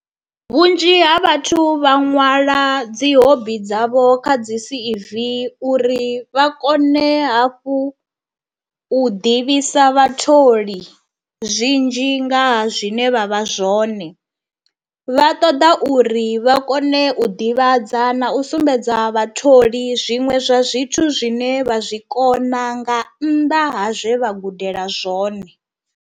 Vhunzhi ha vhathu vha nwala dzi hobby dzavho kha dzi C_V uri vha kone hafhu u ḓivhisa vhatholi zwinzhi ngaha zwine vha vha zwone, vha ṱoḓa uri vha kone u ḓivhadza na u sumbedza vhatholi zwiṅwe zwa zwithu zwine vha zwi kona nga nnḓa ha zwe vha gudela zwone.